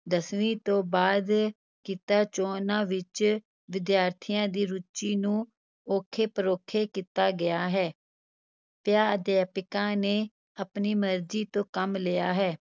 ਦਸਵੀਂ ਤੋਂ ਬਾਅਦ ਕਿੱਤਾ-ਚੋਣਾਂ ਵਿਚ ਵਿਦਿਆਰਥੀਆਂ ਦੀ ਰੁਚੀ ਨੂੰ ਔਖੇ-ਪਰੋਖੇ ਕੀਤਾ ਗਿਆ ਹੈ, ਪਿਆਂ ਅਧਿਆਪਕਾਂ ਨੇ ਆਪਣੀ ਮਰਜ਼ੀ ਤੋਂ ਕੰਮ ਲਿਆ ਹੈ।